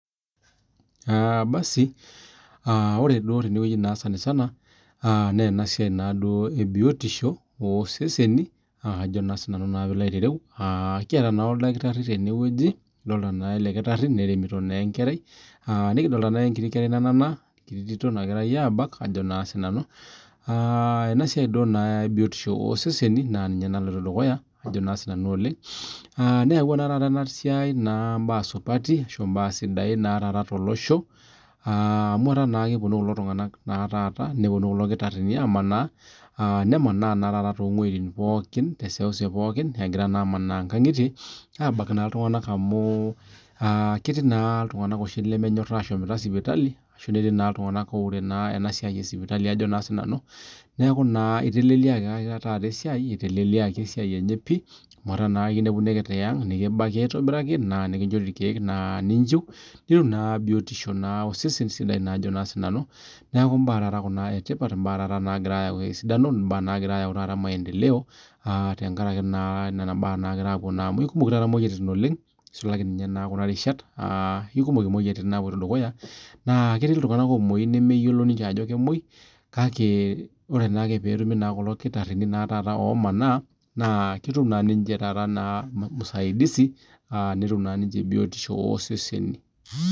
basi ore tenewueji sanisana naa enewueji ebiotiosho oo seseni naa Ajo sinanu piloo aitareu kiata naa oldakitarii tene wueji ore elekitarii neremitoo naa enkerai nikidolita naa enkiti kerai nanana enkiti Tito nagirai abak Ajo sinanu enasiai ee biotisho oo seseni ninye naloito dukuya neyaua naa taata enasiai mbaa supati too losho amu etaa kepuonu kulo kitarinj amanaa nemanaa tee seuseu pookin egira aman nkang'itie abak naa iltung'ana amu ketii naa iltung'ana lemenyor ashom sipitali netii naa iltung'ana oure enasiai ee sipitali neeku eitelelikii esiai enye pii amu etaa ekinepuni ake tiang nikibaki aitobiraki naa kinjorii irkeek ninjiu nitum biotisho osesen sidai neeku mbaa naijio Kuna etipat nagira ayau esidano nagira ayau taata maendeleo tenkaraki Nena mbaa amu kumok taaa moyiaritin oleng nisulaki Kuna rishat ekumok moyiaritin naapuoito dukuya naa ketii iltung'ana omuoyu neme yiolo ninche Ajo kemuoi kake ore petumi kulo kitarinj omanaa naa ketum ninche taata musaidizi netum naa ninche biotisho oo seseni